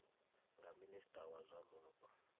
nga minista wa zwa mupo